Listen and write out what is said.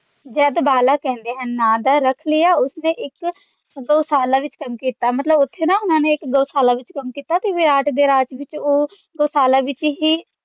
ਜਾ ਗਵਾਲਾ ਕਹਿੰਦੇ ਹਨ ਨਾਮ ਦਾ ਰੱਖ ਲਿਆ ਉਸਨੇ ਇੱਕ ਗਊਸ਼ਾਲਾ ਦੇ ਵਿੱਚ ਕੰਮ ਕੀਤਾ ਮਤਲਬ ਉੱਥੇ ਨਾ ਉਨ੍ਹਾਂ ਨੇ ਇੱਕ ਗਊਸ਼ਾਲਾ ਦੇ ਵਿੱਚ ਕੰਮ ਕੀਤਾ ਤੇ ਵਿਰਾਟ ਦੇ ਰਾਜ ਵਿੱਚ ਉਹ ਗਊਸ਼ਾਲਾ ਵਿੱਚ ਹੀ